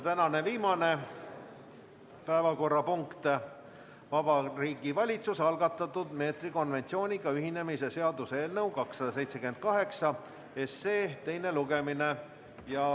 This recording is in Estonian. Tänane viimane päevakorrapunkt: Vabariigi Valitsuse algatatud meetrikonventsiooniga ühinemise seaduse eelnõu 278 teine lugemine.